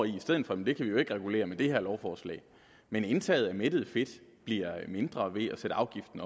i stedet for kan vi jo ikke regulere med det her lovforslag men indtaget af mættet fedt bliver mindre ved at sætte afgiften